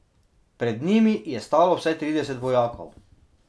Pred njimi je stalo vsaj trideset vojakov.